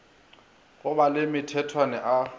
go ba le mathethwane a